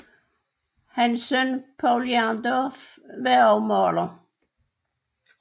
Hans søn Povl Jerndorff var også maler